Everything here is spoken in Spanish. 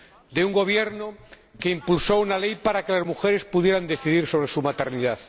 De un gobierno que impulsó una ley para que las mujeres pudieran decidir sobre su maternidad.